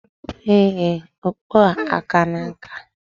Ee, okpu a akana nka.